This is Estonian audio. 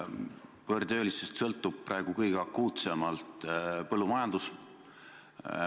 Võõrtöölistest sõltub praegu kõige akuutsemalt põllumajandus.